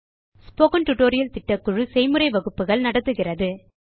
spoken tutorial திட்டக்குழு செய்முறை வகுப்புகள் நடத்துகிறது